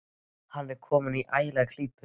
Hann er kominn í ægilega klípu.